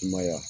I ma y'a